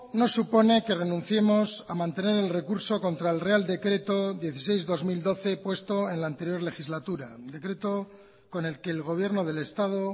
no supone que renunciemos a mantener el recurso contra el real decreto dieciséis barra dos mil doce puesto en la anterior legislatura decreto con el que el gobierno del estado